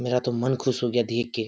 मेरा तो मन खुश हो गया देख के।